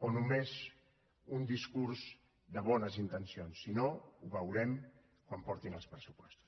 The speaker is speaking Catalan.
o només un discurs de bones intencions si no ho veurem quan portin els pressupostos